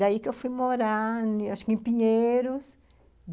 Daí que eu fui morar, acho que em Pinheiros.